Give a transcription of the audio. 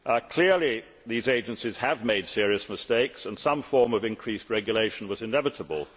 Clearly, these agencies have made serious mistakes, and some form of increased regulation was inevitable.